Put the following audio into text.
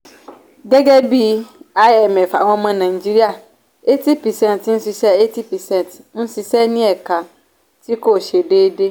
gẹ́gẹ́ bí imf àwọn ọmọ nàìjíríà eighty percent ń ṣiṣẹ́ eighty percent ń ṣiṣẹ́ ní ẹ̀ka tí kò ṣe déédéé.